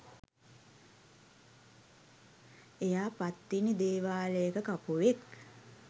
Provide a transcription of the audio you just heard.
එයා පත්තිනි දේවාලයක කපුවෙක්